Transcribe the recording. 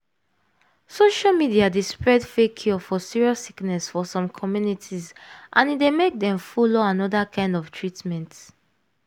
social media dey spread fake cure for serious sickness for some communities and e dey make dem follow another kind of treatment.